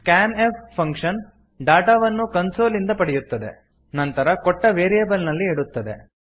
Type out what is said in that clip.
scan f function ಡಾಟಾವನ್ನು console ಇಂದ ಪಡೆಯುತ್ತದೆ ನಂತರ ಕೊಟ್ಟ ವೇರಿಯೇಬಲ್ ನಲ್ಲಿ ಇಡುತ್ತದೆ